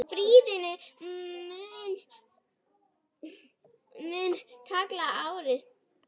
Friðrik mun fylgja yður áfram.